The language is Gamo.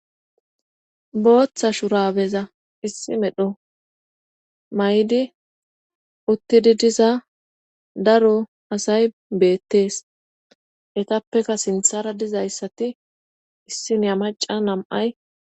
booththa shurabeza issi medho may7di uttidi diza daro asay beettees etappeka sinthara dizayssati issinyamaca nam7ay